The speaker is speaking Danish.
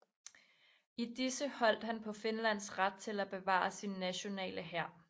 I disse holdt han på Finlands ret til at bevare sin nationale hær